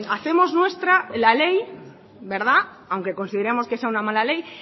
hacemos nuestra la ley aunque consideremos que sea una mala ley